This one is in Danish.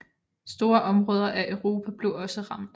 Store områder af Europa blev også ramt